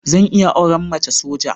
Zan iya auren mace soja.